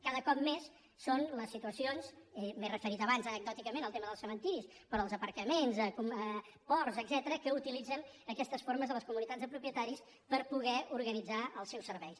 cada cop són més les situacions m’he referit abans anecdòticament al tema dels cementiris però els aparcaments ports etcètera que utilitzen aquestes formes de les comunitats de propietaris per poder organitzar els seus serveis